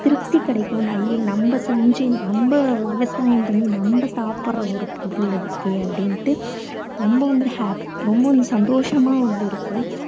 திருப்தி கிடைக்கும். நம்ம செஞ்சு நம்ம விவசாயம் பண்ணி நம்ம சாப்பிடற ஒரு பொருள் இருக்கே அப்படீண்டு ரொம்ப வந்து happy சந்தோஷமா வந்து இருக்கும்.